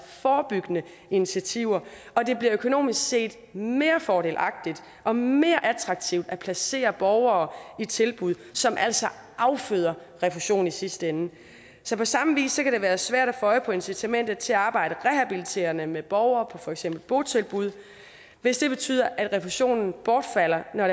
forebyggende initiativer og det bliver økonomisk set mere fordelagtigt og mere attraktivt at placere borgere i tilbud som altså afføder refusion i sidste ende så på samme vis kan det være svært at få øje på incitamentet til at arbejde rehabiliterende med borgere på for eksempel botilbud hvis det betyder at refusionen bortfalder når